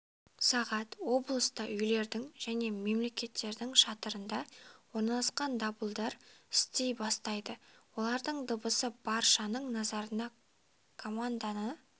сағат облыста үйлердің және мекемелердің шатырында орналасқан дабылдар істей бастайды олардың дыбысы баршаның назарына команданы